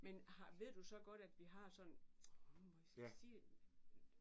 Men har ved du så godt at vi har sådan nu må jeg altså ikke sige det